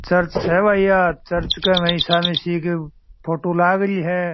चर्च है चर्च में ईशा मशीही की फोटो लागरी है।